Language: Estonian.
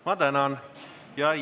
Ma tänan!